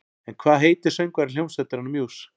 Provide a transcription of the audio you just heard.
Hvað heitir söngvari hljómsveitarinnar Muse?